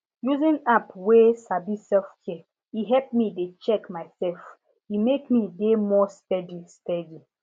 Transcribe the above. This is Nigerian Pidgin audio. using app wey sabi selfcare e help me dey check myself e make me dey more steady steady